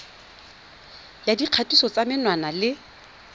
ya dikgatiso tsa menwana le